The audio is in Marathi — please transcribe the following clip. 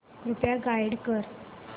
कृपया गाईड कर